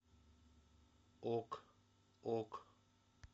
ок ок